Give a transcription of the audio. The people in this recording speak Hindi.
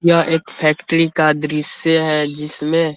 यह एक फैक्ट्री का दृश्य है जिसमें --